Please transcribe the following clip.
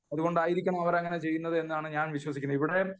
അതുകൊണ്ടായിരിക്കാം അവർ അങ്ങനെ ചെയ്യുന്നത് എന്നാണ് വിശ്വസിക്കുന്നത്